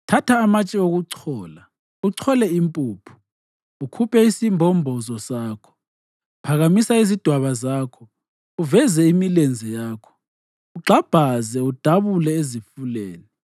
Thatha amatshe okuchola uchole impuphu; ukhuphe isimbombozo sakho. Phakamisa izidwaba zakho, uveze imilenze yakho, ugxabhaze udabule ezifuleni.